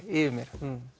yfir mér